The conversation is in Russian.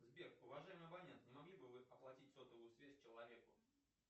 сбер уважаемый абонент не могли бы вы оплатить сотовую связь человеку